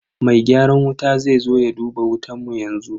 Mai gyaran wuta zai zo ya duba wutan mu yanzu.